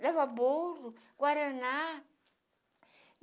Dava bolo, Guaraná.